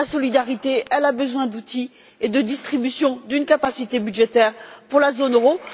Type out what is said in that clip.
La solidarité a besoin d'outils et de distribution d'une capacité budgétaire pour la zone